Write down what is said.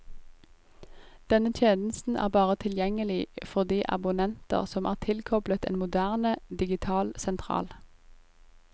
Denne tjenesten er bare tilgjengelig for de abonnenter som er tilkoblet en moderne, digital sentral.